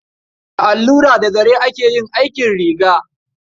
Da allura da zare ake yin aikin riga.